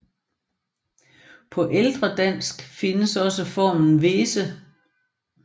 På ældre dansk findes også formen Vese